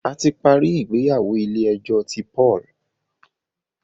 a ti parí ìgbéyàwó ilé ejó tí Paul.